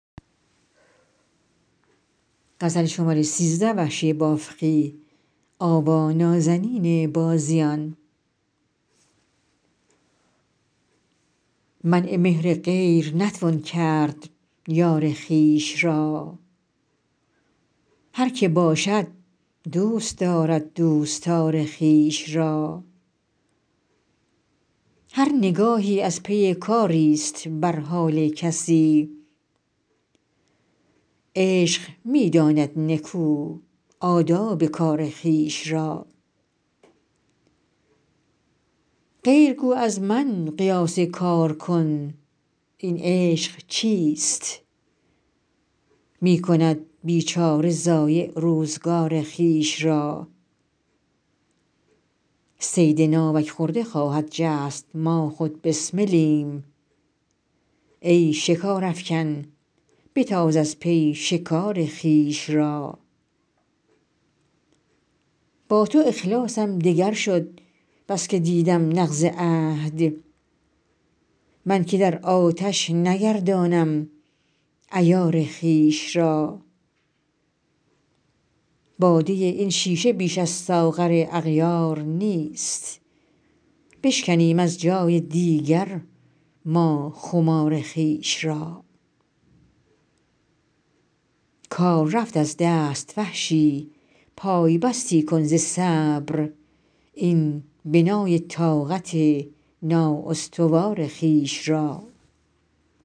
منع مهر غیر نتوان کرد یار خویش را هر که باشد دوست دارد دوستار خویش را هر نگاهی از پی کاریست بر حال کسی عشق می داند نکو آداب کار خویش را غیر گو از من قیاس کار کن این عشق چیست می کند بیچاره ضایع روزگار خویش را صید ناوک خورده خواهد جست ما خود بسملیم ای شکار افکن بتاز از پی شکار خویش را با تو اخلاصم دگر شد بسکه دیدم نقض عهد من که در آتش نگردانم عیار خویش را باده این شیشه بیش از ساغر اغیار نیست بشکنیم از جای دیگر ما خمار خویش را کار رفت از دست وحشی پای بستی کن ز صبر این بنای طاقت نااستوار خویش را